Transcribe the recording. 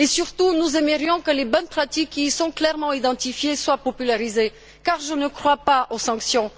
Et surtout, nous aimerions que les bonnes pratiques qui y sont clairement identifiées soient popularisées, car je ne crois pas aux sanctions.